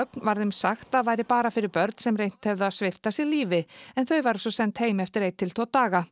var þeim sagt að væri bara fyrir börn sem reynt hefðu að svipta sig lífi en þau væru svo send heim eftir einn til tvo daga